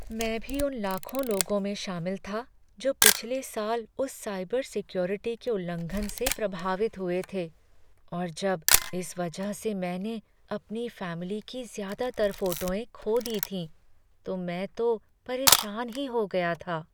मैं भी उन लाखों लोगों में शामिल था जो पिछले साल उस साइबर सिक्योरिटी के उल्लंघन से प्रभावित हुए थे और जब इस वजह से मैंने अपनी फैमिली की ज़्यादातर फोटों खो दी थीं, तो मैं तो परेशान ही हो गया था।